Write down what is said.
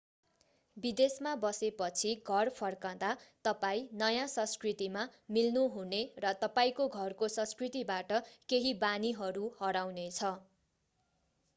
विदेशमा बसे पछि घर फर्कंदा तपाईं नयाँ संस्कृतिमा मिल्नु हुने र तपाईंको घरको संस्कृतिबाट केही बानीहरू हराउने छ